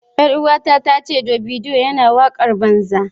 Yar uwata ta ce Davido yana wakar banza.